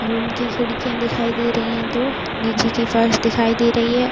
Room की खिड़कियाँ दिखाई दे रही हैं दोनीचे के फर्श दिखाई दे रही है।